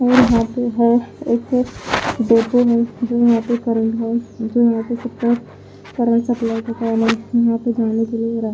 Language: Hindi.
और यहां पे है एक जो यहां पे यहां पे जाने के लिए रा--